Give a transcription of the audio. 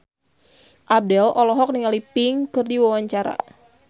Abdel olohok ningali Pink keur diwawancara